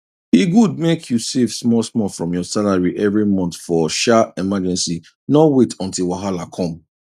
e good mek you save smallsmall from your salary every month for um emergency no wait until wahala come